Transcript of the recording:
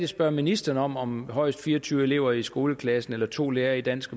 spørge ministeren om det med højst fire og tyve elever i en skoleklasse eller to lærere i dansk